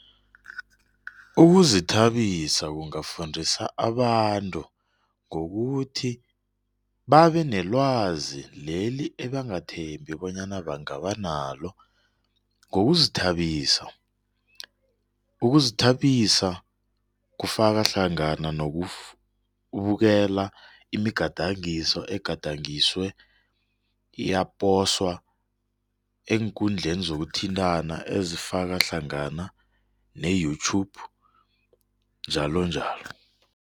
Ukuzithabisa kungafundisa abantu ngokuthi babe nelwazi leli ebangathembi bonyana bangaba nalo ngokuzithabisa, ukuzithabisa kufaka hlangana nokubukela imigadangiso, egadangiswe yaposwa eenkundleni zokuthintana ezifaka hlangana ne-YouTube njalo njalo.